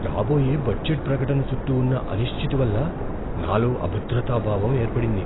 రాబోయే బడ్జెట్ ప్రకటన చుట్టూ ఉన్న అనిశ్చితి వల్ల నాలో అభద్రతా భావం ఏర్పడింది.